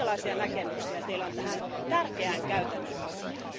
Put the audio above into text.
Minkälaisia näkemyksiä Teillä on tähän tärkeään käytännön asiaan?